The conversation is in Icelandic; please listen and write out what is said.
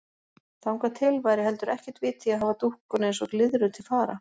Þangað til væri heldur ekkert vit í að hafa dúkkuna eins og glyðru til fara.